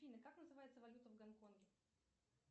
афина как называется валюта в гонконге